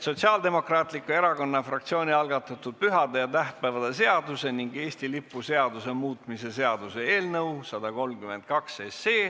Sotsiaaldemokraatliku Erakonna fraktsiooni algatatud pühade ja tähtpäevade seaduse ning Eesti lipu seaduse muutmise seaduse eelnõu 132.